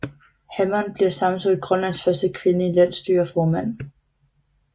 Hammond bliver samtidig Grønlands første kvindelige Landsstyreformand